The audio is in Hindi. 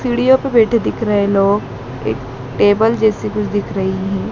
सीडियो पे बैठे दिख रहे लोग एक टेबल जैसी कुछ दिख रही है।